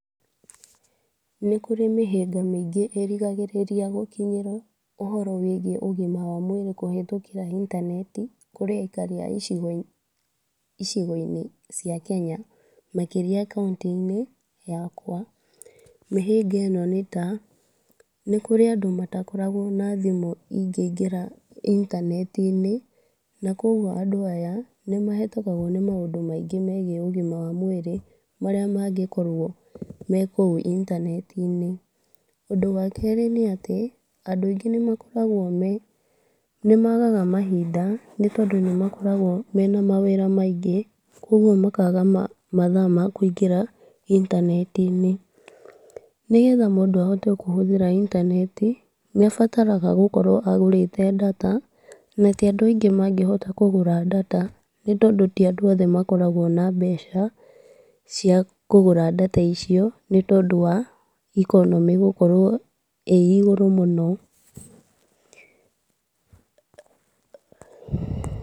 Nĩ kũrĩ mĩhĩnga mĩingĩ ĩragirĩrĩria gũkinyĩra ũhoro wĩgiĩ ũgima wa mwĩrĩ kũhĩtũkĩra intaneti, kũrĩ aikari a icigo-inĩ cia Kenya, makĩria kauntĩ-inĩ yakwa. Mĩhĩnga ĩno nĩta; nĩ kũrĩ na andũ matakoragwo na thimũ ingĩingĩra intaneti-inĩ. Na kuogwo andũ aya, nĩ mahĩtũkagwo nĩ maũndũ maingĩ ũgima wa mwĩrĩ marĩa mangĩkorwo mekũu intanenti-inĩ. Ũndũ wakerĩ nĩ- atĩ, andũ aingĩ nĩ makoragwo me, nĩ magaga mahinda nĩ tondũ nĩ makorago mena mawĩra maingĩ, kogwo makaga mathaa ma kũingĩra intanenti-inĩ. Nĩgetha mũndũ ahote kũingĩra intanenti, nĩ abataragwo gũkorwo agũrĩte Ndata, na ti andũ aingĩ mangĩhota kũgũra ndata nĩ tondũ ti andũ othe makoragwo na mbeca cia kũgũra ndata icio nĩ tondũ wa ikonomĩ gũkorwo ĩ igũrũ mũno.